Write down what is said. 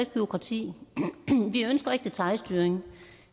bureaukrati vi ønsker ikke detailstyring